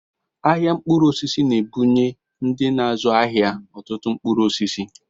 Ahịa mkpụrụ osisi na-ebunye ndị na-azụ ahịa ọtụtụ mkpụrụ osisi